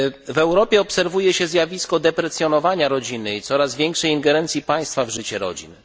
W Europie obserwuje się zjawisko deprecjonowania rodziny i coraz większej ingerencji państwa w życie rodzin.